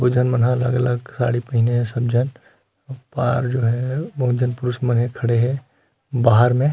बहुत झन अलग-अलग साड़ी पहिने हे सब झन ओ पार जो है बहुत झन पुरुष मन खड़े है बाहार में --